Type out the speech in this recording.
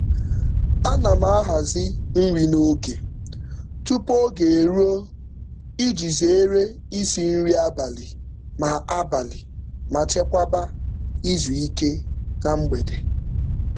Ana m ahazi nri n'oge tupu oge eruo iji zeere isi nri abalị ma abalị ma chekwaba izu ike na mgbede.